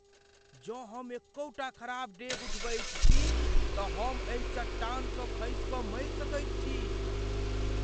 जँ हम एकहुँटा खराब डेग उठबैत छी तँ हम एहि चट्टानसँ खसि कऽ मरि सकैत छी।